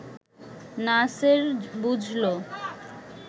নাসের বুঝল